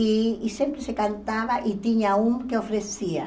E e sempre se cantava e tinha um que oferecia.